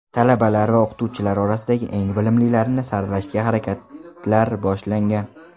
Talabalar va o‘qituvchilar orasida eng bilimlilarini saralashga harakatlar boshlangan.